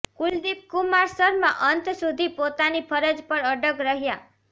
કુલદીપ કુમાર શર્મા અંત સુધી પોતાની ફરજ પર અડગ રહ્યા